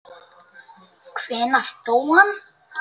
Hvenær dó hann?